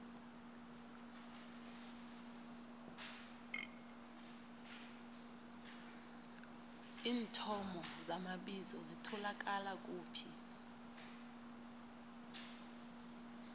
iinthomo zamabizo zitholakala kuphi